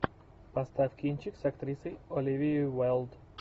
поставь кинчик с актрисой оливией уайлд